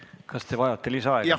Kas te vajate lisaaega?